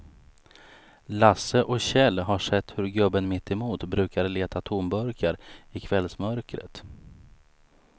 Lasse och Kjell har sett hur gubben mittemot brukar leta tomburkar i kvällsmörkret.